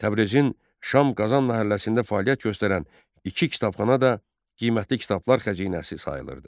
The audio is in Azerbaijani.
Təbrizin Şamqazan məhəlləsində fəaliyyət göstərən iki kitabxana da qiymətli kitablar xəzinəsi sayılırdı.